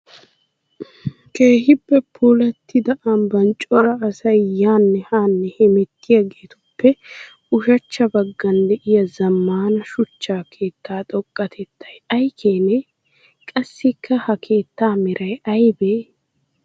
Keehippe puulatidda ambban coraa asay yaane haane hemetiyageetuppe ushshachcha bagan de'iya zamana suchcha keetta xoqatettay ay keene? Qassikka ha keetta meray aybee?